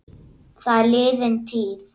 Það er liðin tíð.